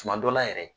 Tuma dɔ la yɛrɛ